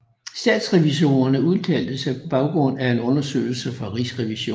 Statsrevisorerne udtalte sig på baggrund af en undersøgelse fra Rigsrevisionen